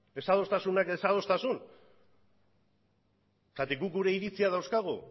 desadostasunak desadostasun zergatik guk gure iritziak dauzkagu